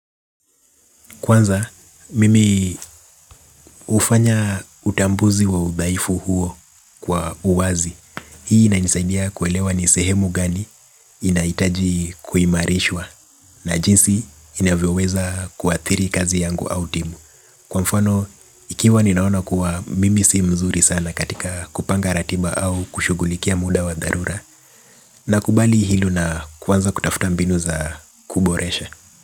Kwanza, mimi hufanya utambuzi wa udhaifu huo kwa uwazi. Hii inanisaidia kuelewa ni sehemu gani inahitaji kuimarishwa na jinsi inavyoweza kuathiri kazi yangu au timu. Kwa mfano, ikiwa ninaona kuwa mimi sii mzuri sana katika kupanga ratiba au kushugulikia muda wa dharura nakubali hilo na kwanza kutafuta mbinu za kuboresha.